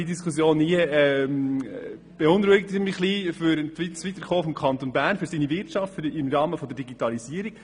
Diese Diskussion beunruhigt mich daher etwas im Hinblick auf das Weiterkommen des Kantons Bern und seiner Wirtschaft hinsichtlich der Digitalisierung.